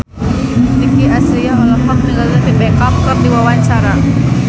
Nicky Astria olohok ningali David Beckham keur diwawancara